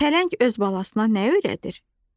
Pələng öz balasına nə öyrədir?